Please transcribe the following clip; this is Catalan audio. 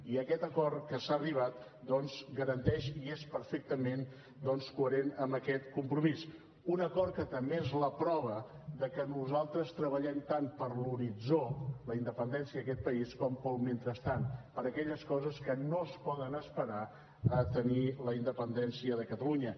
i aquest acord a què s’ha arribat doncs garanteix i és perfectament coherent amb aquest compromís un acord que també és la prova de que nosaltres treballem tant per l’horitzó la independència d’aquest país com pel mentrestant per aquelles coses que no es poden esperar a tenir la independència de catalunya